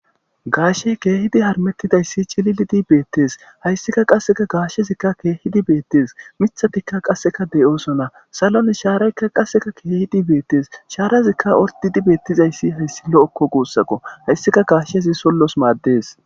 Gaashey keehidi harmettidayssi cililidi beettees hayssika qasseka gaashezikka keehidi beettees mithatika qasseka de7oosona salon shaaraykka qasseka keehidi beettes shaarazikka ordidi beettizayssi hayssi lo7okko guussaqo hayssika gaashezi sollos maaddes.